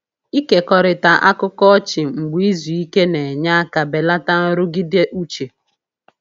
Ịkekọrịta akụkọ ọchị mgbe izu ike na-enye aka belata nrụgide uche.